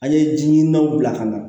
An ye ji ɲinanw bila ka na